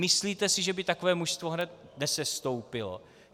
Myslíte si, že by takové mužstvo hned nesestoupilo?